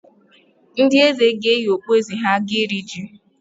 Ndị Eze ga-eyi okpueze ha aga iri ji